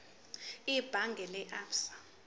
ebhange lase absa